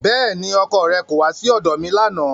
Bẹ́ẹ̀ni, ọkọ rẹ kò wá sí ọ̀dọ̀ mi lánàá